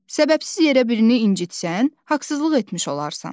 Səbəbsiz yerə birini incitsən, haqsızlıq etmiş olarsan.